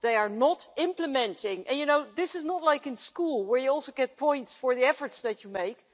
They are not implementing. This is not like in school, where you also get points for the efforts that you make.